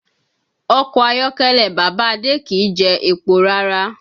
Ọkọ̀ ayọ́kẹ́lẹ́ bàbá Adé kì í jẹ epo rárá